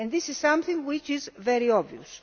This is something which is very obvious.